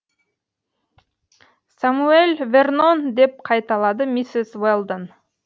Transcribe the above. самюэль вернон деп қайталады миссис уэлдон